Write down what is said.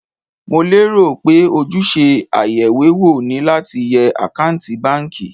Mo lérò pé ojúṣe ayeìwéwò ni láti yẹ àkántì báńkì.